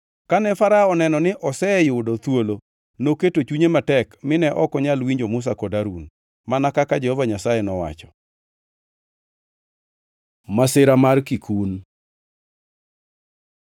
Kane Farao oneno ni oseyudo thuolo, noketo chunye matek mine ok onyal winjo Musa kod Harun, mana kaka Jehova Nyasaye nowacho. Masira mar kikun